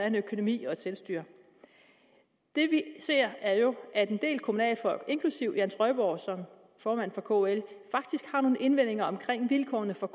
en økonomi og et selvstyre det vi ser er jo at en del kommunalfolk inklusive jan trøjborg som formand for kl faktisk har nogle indvendinger omkring vilkårene for